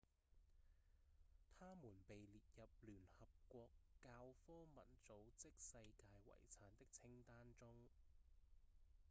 它們被列入聯合國教科文組織世界遺產的清單中